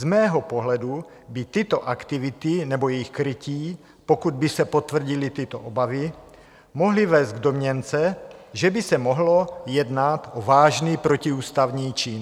Z mého pohledu by tyto aktivity nebo jejich krytí, pokud by se potvrdily tyto obavy, mohly vést k domněnce, že by se mohlo jednat o vážný protiústavní čin.